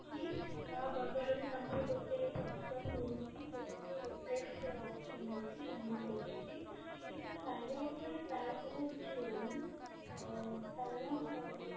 କି ତା ବଦଳ ରେ ତାଙ୍କ ର ଗୋଟେ option ରହୁଛି ଯଉଟା କି replace ର option ରହୁଛି ସେମାନେ ଦଉଛନ୍ତି କିନ୍ତୁ ଖାଇବା ଉପରେ ପ୍ରାୟତଃ କିଛି ରହୁନି ଅ କାରଣ